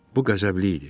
Bu qəzəbli idi.